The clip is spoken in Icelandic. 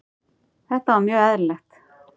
Þetta var mjög eðlilegt.